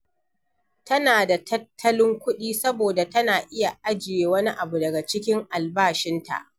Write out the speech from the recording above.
Tana da tattalin kuɗi saboda tana iya ajiye wani abu daga cikin albashinta